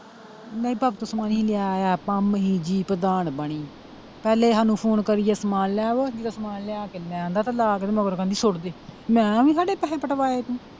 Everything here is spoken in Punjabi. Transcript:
ਨਹੀਂ ਮਰੀ ਜੀ ਪ੍ਰਧਾਨ ਬਣੀ ਪਹਿਲੇ ਸਾਨੂੰ phone ਕਰੀ ਜੇ ਸਮਾਨ ਲੈ ਆਓ ਅਸੀਂ ਜਦੋਂ ਸਮਾਨ ਲਿਆ ਕੇ ਲਾ ਆਂਦਾ ਤੇ ਲਾ ਕੇ ਤੇ ਮਗਰੋਂ ਕਹਿੰਦੀ ਸੁੱਟ ਦੇ ਮੈਂ ਕਿਹਾ ਬੀ ਐਵੇਂ ਸਾਡੇ ਪੈਸੇ ਪਟਵਾਏ ਤੂੰ।